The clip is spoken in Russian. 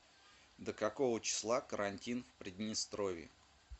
до какого числа карантин в приднестровье